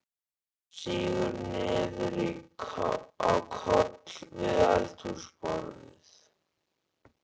Sígur niður á koll við eldhúsborðið.